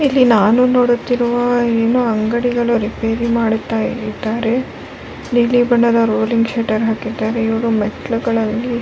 ಇಲ್ಲಿ ನಾನು ನೋಡುತ್ತಿರುವ ಎನೋ ಅಂಗಡಿಗಳ ರಿಪೆರಿ ಮಾಡುತ್ತಾ ಇದ್ದಾರೆ ನೀಲಿ ಬಣ್ಣದ ರೋಲಿಂಗ್ ಶೀಟ್ ಹಾಕಿದ್ದಾರೆ ಇವ್ರು ಮೆಟ್ಲುಗಳಲ್ಲಿ--